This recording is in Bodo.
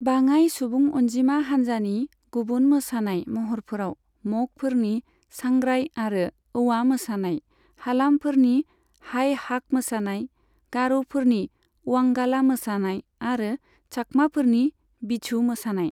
बाङाइ सुबुं अनजिमा हान्जानि गुबुन मोसानाय महरफोराव मगफोरनि सांग्राई आरो औवा मोसानाय, हालामफोरनि हाइ हाक मोसानाय, गार'फोरनि अवांगाला मोसानाय आरो चाकमाफोरनि बिझु मोसानाय।